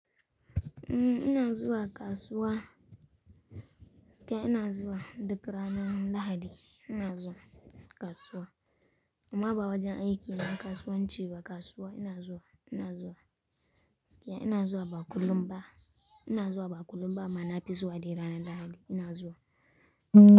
Umm, ina zuwa kasuwa, gaskiya ina zuwa duk ranar Lahadi. Ina zuwa kasuwa. Amma ba wajen aiki na kasuwanci ba. Kasuwa ina zuwa, ina zuwa. Gaskiya ina zuwa ba kullum ba, ina zuwa ba kullum ba. Amma na fi zuwa dai ranar Lahadi. Ina zuwa.